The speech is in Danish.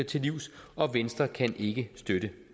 til livs og venstre kan ikke støtte